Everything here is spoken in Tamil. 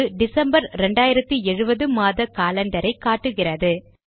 இது டிசம்பர் 2070 மாத காலண்டரை காட்டுகிறது